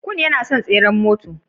Kun yana son tseren mota.